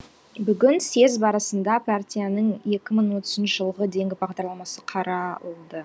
бүгін съез барысында партияның екі мың отызыншы жылғы дейінгі бағдарламасы қаралды